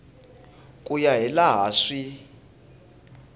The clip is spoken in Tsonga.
ku ya hi laha swi